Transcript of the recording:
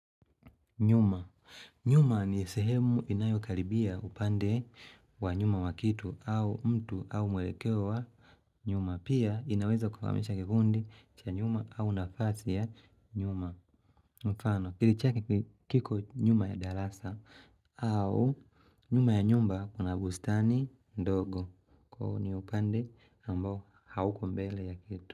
Nyuma. Nyuma ni sehemu inayokaribia upande wa nyuma wa kitu au mtu au mwelekeo wa nyuma. Pia inaweza kukamilisha kifundi cha nyuma au nafasi ya nyuma. Mfano, akili chake kiko nyuma ya darasa au nyuma ya nyumba kuna bustani ndogo. Kwa hio ni upande ambao hauko mbele ya kitu.